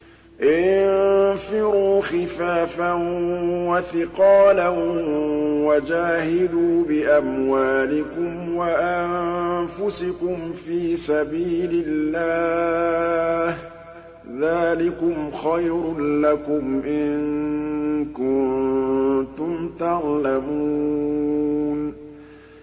انفِرُوا خِفَافًا وَثِقَالًا وَجَاهِدُوا بِأَمْوَالِكُمْ وَأَنفُسِكُمْ فِي سَبِيلِ اللَّهِ ۚ ذَٰلِكُمْ خَيْرٌ لَّكُمْ إِن كُنتُمْ تَعْلَمُونَ